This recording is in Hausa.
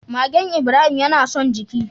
Magen Ibrahim yana son jiki.